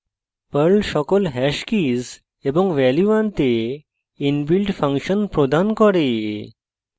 perl সকল hash keys এবং value আনতে inbuilt ফাংশন প্রদান করে